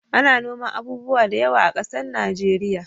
Ana noman abubuwa da yawa a ƙasar nigeria